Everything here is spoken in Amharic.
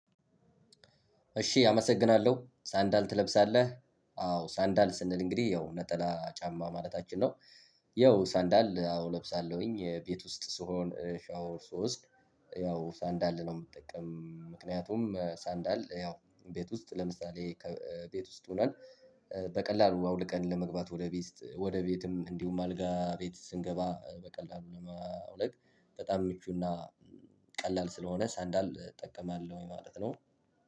እሺ አመሰግናለሁ ሰንደል ትለብሳለህ አዎ ሰንደል ስንል እንግዲህ ያው ነጠላ ጫማ ማለታችን ነው። ያው ሰንደል አዎ እለብሳለሁኝ ቤት ውስጥ ስሆን ሻወር ስወስድ ያው ሰንደል ነው የምጠቀም ምክንያቱም ሰንደል ያው ቤት ውስጥ ለምሳሌ ቤት ውስጥ ሆነን በቀላሉ አውልቀን ለመግባት ወደ ቤት ውስጥ ወደ ቤትም እንዲሁም አልጋ ቤት ስንገባ በቀላሉ ለማውለቅ በጣም ምቹና ቀላል ስለሆነ ሰንደል እጠቀማለሁ ማለት ነው።